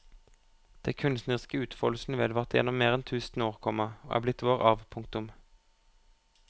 Den kunstneriske utfoldelsen vedvarte gjennom mer enn tusen år, komma og er blitt vår arv. punktum